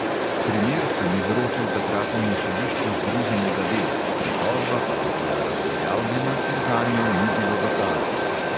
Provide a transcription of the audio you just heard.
"Primer sem izročil takratnemu sodišču združenega dela, pritožba pa je bila razveljavljena, ker zanjo ni bilo dokazov."